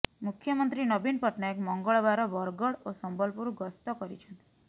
ମୁଖ୍ୟମନ୍ତ୍ରୀ ନବୀନ ପଟ୍ଟନାୟକ ମଙ୍ଗଳବାର ବରଗଡ଼ ଓ ସମ୍ବଲପୁର ଗସ୍ତ କରିଛନ୍ତି